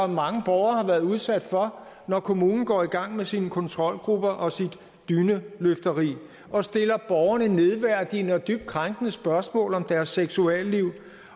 mange borgere har været udsat for når kommunen går i gang med sine kontrolgrupper og sit dyneløfteri og stiller borgerne nedværdigende og dybt krænkende spørgsmål om deres seksualliv